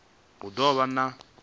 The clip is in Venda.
u ḓo vha ṋea khoudu